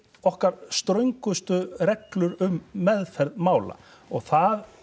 okkar ströngustu reglur um meðferð mála og það